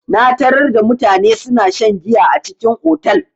Na tarar da mutane suna shan giya a cikin otal.